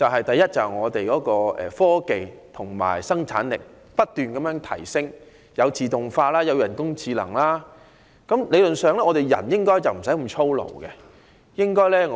第一，我們的科技和生產力不斷提升，例如自動化和人工智能，人們理論上無須再過於操勞。